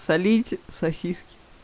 солить сосиски